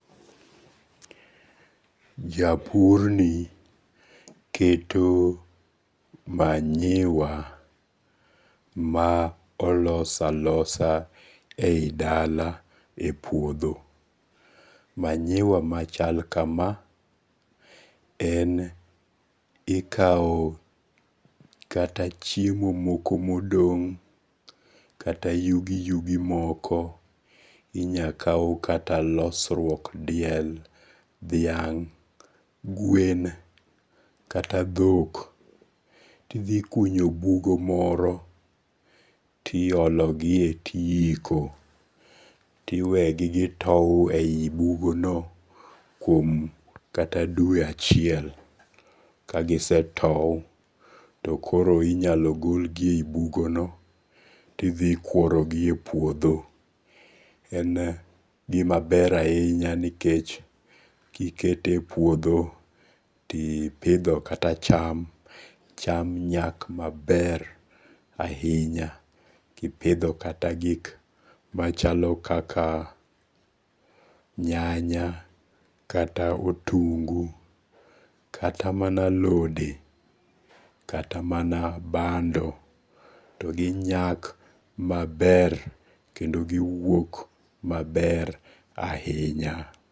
Japurni keto manyiwa ma olos alosa e yi dala e puotho, manyiwa machal kama en ikawo kata chiemo moko modong' kata yugiyugi moko, inyal kau kata losruok diel, dhiang', gwen kata thok tithikunyo bugo moro tiologie tihiko, tiwegi gitow e yi bugono kuom kata dwe achiel, kagisetou to inyalo golgie e yi bugono tithikworogie e puotho, en gima ber ahinya nikech kikete e puotho to ipitho kata cham, cham nyak maber ahinya, kipitho kata gik machalo kaka nyanya, kata otungu, katamana alode kata mana bando to gi nyak maber kendoo giwuok maber ahinya.